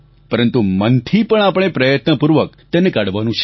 પરંતુ મનથી પણ આપણે પ્રયત્નપૂર્વક તેને કાઢવાનું છે